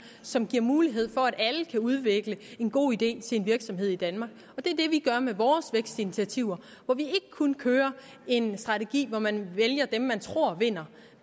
som giver mulighed for at alle kan udvikle en god idé til en virksomhed i danmark og det er det vi gør med vores vækstinitiativer hvor vi ikke kun kører en strategi hvor man vælger dem man tror vinder